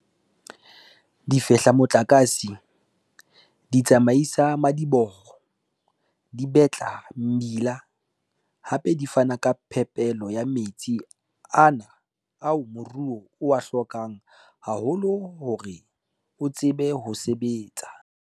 Di fehla motlakase, di tsamaisa madiboho, di betla mebila, hape di fana ka phepelo ya metsi ana ao moruo o a hlokang haholo hore o tsebe ho sebetsa.